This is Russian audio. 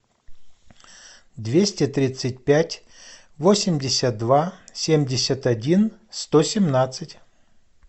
двести тридцать пять восемьдесят два семьдесят один сто семнадцать